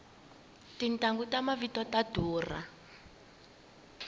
tintanghu ta mavito ta durha